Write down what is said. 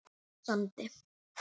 á Sandi.